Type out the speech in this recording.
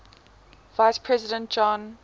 vice president john